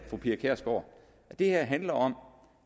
fru pia kjærsgaard at det her handler om